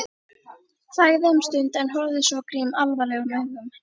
Þagði um stund en horfði svo á Grím alvarlegum augum.